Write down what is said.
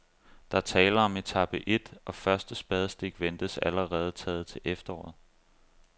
Der er tale om etape et, og første spadestik ventes allerede taget til efteråret.